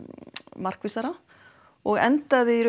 markvissara og endaði í